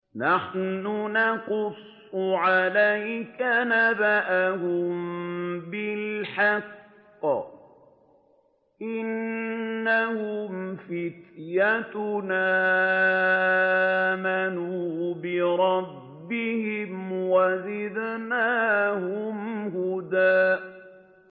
نَّحْنُ نَقُصُّ عَلَيْكَ نَبَأَهُم بِالْحَقِّ ۚ إِنَّهُمْ فِتْيَةٌ آمَنُوا بِرَبِّهِمْ وَزِدْنَاهُمْ هُدًى